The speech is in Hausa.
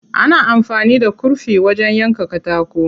Ana amfani da kurfi wajen yanka katako.